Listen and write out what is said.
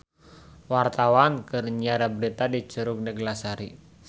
Wartawan keur nyiar berita di Curug Neglasari